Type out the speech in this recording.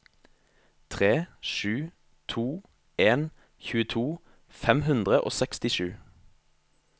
tre sju to en tjueto fem hundre og sekstisju